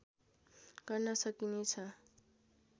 गर्न सकिने छ